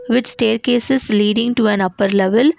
with staircases leading to an upper level.